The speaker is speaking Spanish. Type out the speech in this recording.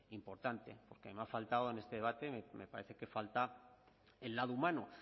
importante porque me ha faltado en este debate me parece que falta el lado humano